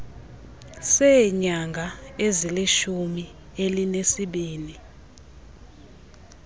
seenyanga ezilishumi elinesibini